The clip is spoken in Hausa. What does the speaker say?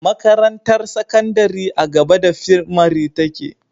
Makarantar sakandari a gaba da fimari take